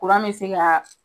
Kuran bɛ se kaa.